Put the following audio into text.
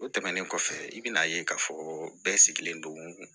O tɛmɛnen kɔfɛ i bɛna ye k'a fɔ bɛɛ sigilen don